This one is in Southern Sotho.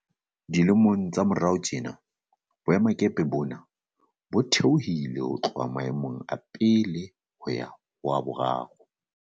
Dilemong tsa morao tjena, boemakepe bona bo theohile ho tloha maemong a bona a pele ho ya ho a boraro.